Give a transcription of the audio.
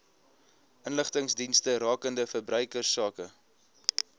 inligtingsdienste rakende verbruikersake